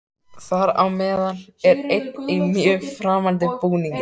Þar á meðal er einn í mjög framandi búningi.